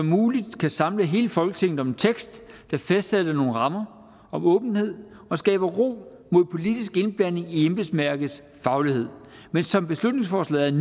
muligt kan samle hele folketinget om en tekst der fastsætter nogle rammer om åbenhed og skaber ro mod politisk indblanding i embedsværkets faglighed men som beslutningsforslaget